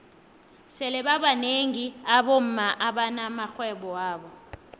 sele babnengi abomma abana maxhwebo wabo